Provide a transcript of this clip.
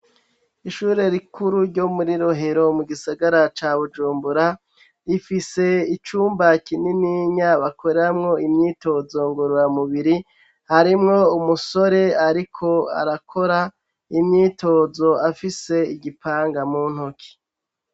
Ishure rikuru ryo muri rohero mu gisagara ca Bujumbura rifise icumba kinininya bakoramwo imyitozo ngurura mubiri harimwo umusore ariko arakora imyitozo afise igipanga mu ntoki.